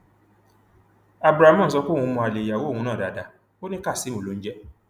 abdulramon sọ pé òun mọ alẹ ìyàwó òun náà dáadáa ó ní kazeem ló ń jẹ